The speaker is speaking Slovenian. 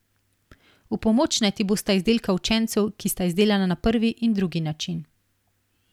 V pomoč naj ti bosta izdelka učencev, ki sta izdelana na prvi in drugi način.